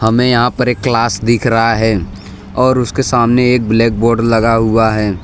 हमें यहां पर एक क्लास दिख रहा है और उसके सामने एक ब्लैक बोर्ड लगा हुआ है।